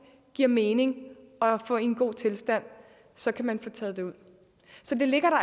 giver mening at få i en god tilstand så kan man få taget det ud så det ligger